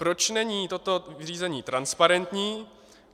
Proč není toto řízení transparentní?